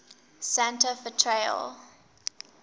santa fe trail